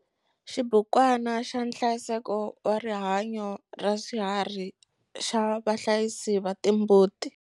Xibukwana xa nhlayiseko wa rihanyo raswiharhi xa vahlayisi va timbuti.